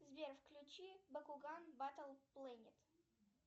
сбер включи бакуган батл планет